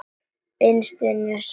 Innst inni vissi hann svarið.